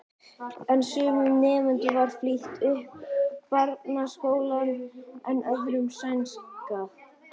En sumum nemendum var flýtt upp barnaskólann en öðrum seinkað.